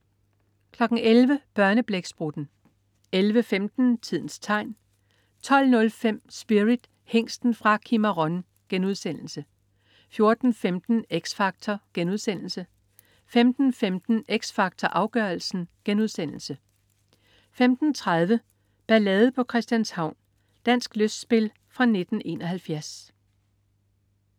11.00 Børneblæksprutten 11.15 Tidens tegn 12.05 Spirit, Hingsten fra Cimarron* 14.15 X Factor* 15.15 X Factor Afgørelsen* 15.30 Ballade på Christianshavn. Dansk lystspil fra 1971